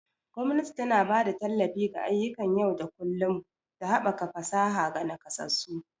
Gwamnati tana ba da tallafi ga ayyukan yau da kullun da haɓaka fasaha ga nakasassu.